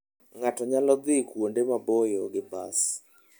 Ng'ato nyalo dhi kuonde maboyo gi bas.